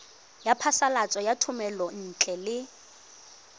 ya phasalatso ya thomelontle le